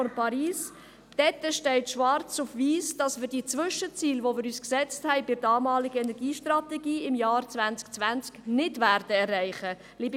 Der Vorstoss trägt den Namen «Standortbestimmung zum Klimaschutz nach dem Hitzesommer 2018: Steht die Politik des Kantons Bern im Einklang mit dem Klimavertrag von Paris?»